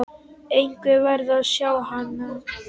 Einhver verður að segja hann.